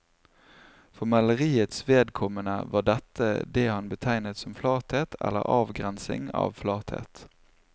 For maleriets vedkommende var dette det han betegnet som flathet eller avgrensing av flathet.